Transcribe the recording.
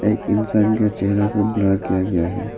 एक इंसान का चेहरा को ब्लर किया गया है।